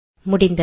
முடிந்தது